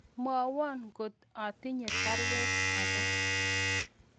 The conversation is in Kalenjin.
Mwowon kot atinye baruet age